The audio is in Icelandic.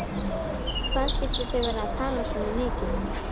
Hvað skyldu þau vera að tala svona mikið?